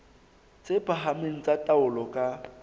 tse phahameng tsa taolo ka